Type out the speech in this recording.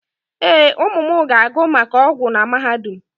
Ee, ụmụ m ga-agụ maka ọgwụ na mahadum.